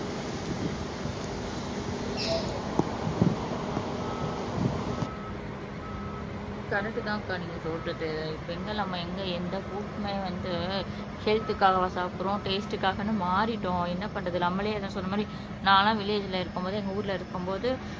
correct தான் அக்கா நீங்க சொல்றது இப்ப வந்து எங்க எந்த ஃபுட்டுமே வந்து ஹெல்த்துக்காகவா சாப்பிடுறோம் டேஸ்டுக்காகன்னு மாறிட்டோம் என்ன பண்றது நம்மளே அதான் சொல்ற மாதிரி நான்லாம் வில்லேஜ்ல இருக்கும்போது எங்க ஊர்ல இருக்கும்போது